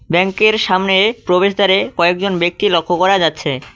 ব্যাঙ্কের সামনে প্রবেশদ্বারে কয়েকজন ব্যক্তি লক্ষ করা যাচ্ছে।